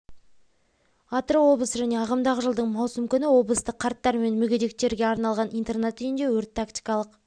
атырау облысы және ағымдағы жылдың маусым күні облыстық қарттар мен мүгедектерге арналған интернат үйіне өрт тактикалық